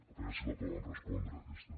a veure si la poden respondre aquesta